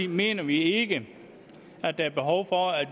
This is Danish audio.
mener vi ikke at der er behov for at